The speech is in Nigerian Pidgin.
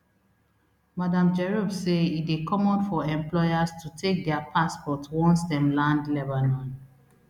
madam jerop say e dey common for employers to take dia passport once dem land lebanon